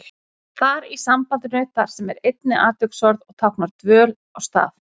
Þar í sambandinu þar sem er einnig atviksorð og táknar dvöl á stað.